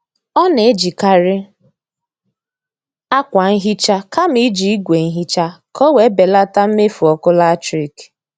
Ọ na-ejikari akwa nhicha kama iji ìgwè nhicha ka ọ wee belata mmefu ọkụ latrik